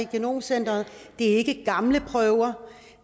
genomcenter det er ikke af gamle prøver